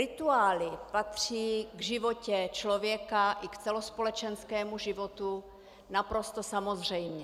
Rituály patří k životě člověka i k celospolečenskému životu naprosto samozřejmě.